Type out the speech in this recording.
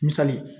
Misali